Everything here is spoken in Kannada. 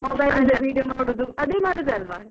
Mobile ಲ್ಲೆ video ಮಾಡುದು ಅದೇ ಮಾಡುದಲ್ವಾ. .